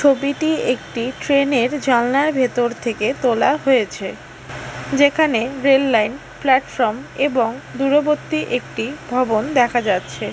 ছবিটি একটি ট্রেন এর জানলার ভেতর থেকে তোলা হয়েছে যেখানে রেললাইন প্ল্যাটফর্ম এবং দূরবর্তী একটি ভবন দেখা যাচ্ছে।